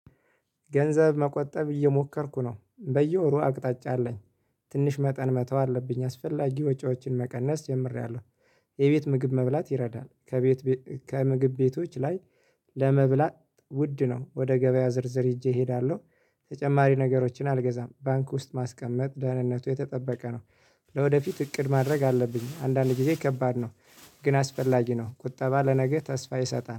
ገንዘብ መቆጠብ እየሞከርኩ ነው በየወሩ አቅጣጫ አለኝ ትንሽ መጠን መተው አለብኝ አስፈላጊ ወጪዎችን መቀነስ ጀምሬያለሁ። የቤት ምግብ መብላት ይረዳል ከቤት ከምግብ ቤቶች ላይ ለመብላት ውድ ነው ወደ ገበያ ዝርዝር ሄጄ እሄዳለሁ። ተጨማሪ ነገሮችን አልገዛም ባንክ ውስጥ ማስቀመጥ ደህንነቱ የተጠበቀ ነው። ለወደፊት እቅድ ማድረግ አለብኝ አንዳንድ ጊዜ ከባድ ነው። ግን አስፈላጊ ነው ቁጠባ ለነገ ተስፋ ይሰጣል